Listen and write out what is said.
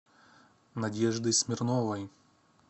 надежды смирновой